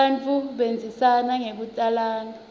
bantfu bandzisana ngekutalana